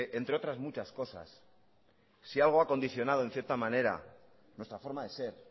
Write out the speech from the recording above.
entre otras muchas cosas si algo ha condicionado en cierta manera nuestra forma de ser